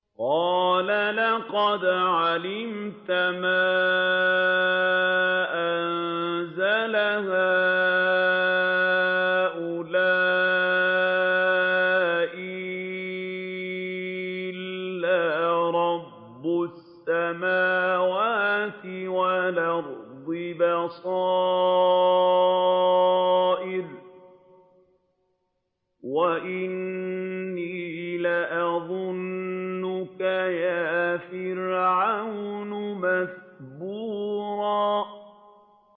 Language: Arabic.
قَالَ لَقَدْ عَلِمْتَ مَا أَنزَلَ هَٰؤُلَاءِ إِلَّا رَبُّ السَّمَاوَاتِ وَالْأَرْضِ بَصَائِرَ وَإِنِّي لَأَظُنُّكَ يَا فِرْعَوْنُ مَثْبُورًا